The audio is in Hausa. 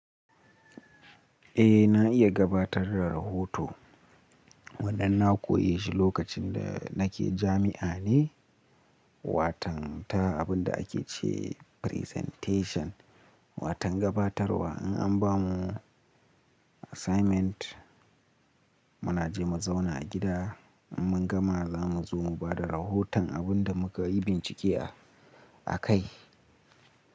Eh na iya gabatar da rahoto. Wannan na koyi shi lokacin da nake jami'a ne. Watan ta abin da ake ce presentation, watan gabatarwa. In an ba mu assignment muna je mu zauna a gida, in mun gama za mu zo mu ba da rahoton abin da muka yi bincike a kai.